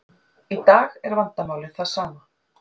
Í dag er vandamálið það sama.